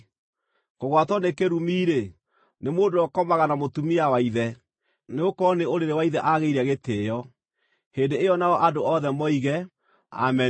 “Kũgwatwo nĩ kĩrumi-rĩ, nĩ mũndũ ũrĩa ũkomaga na mũtumia wa ithe, nĩgũkorwo nĩ ũrĩrĩ wa ithe aagĩire gĩtĩĩo.” Hĩndĩ ĩyo nao andũ othe moige, “Ameni!”